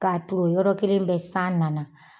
K'a ton yɔrɔ kelen bɛ san nana